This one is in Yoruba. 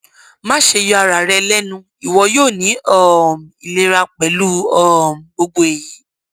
maṣe yọ ara rẹ lẹnu iwọ yoo ni um ilera pẹlu um gbogbo eyi